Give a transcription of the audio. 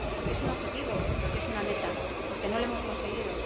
Porque es un objetivo, porque es una meta, porque no lo hemos conseguido.